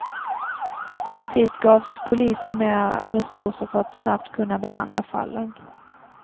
Samtidigt gavs polisen mera resurser för att snabbt kunna behandla fallen.